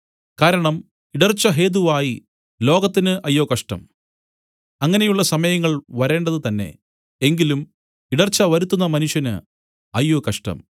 കാരണം ഇടർച്ച ഹേതുവായി ലോകത്തിനു അയ്യോ കഷ്ടം അങ്ങനെയുള്ള സമയങ്ങൾ വരേണ്ടത് തന്നേ എങ്കിലും ഇടർച്ച വരുത്തുന്ന മനുഷ്യന് അയ്യോ കഷ്ടം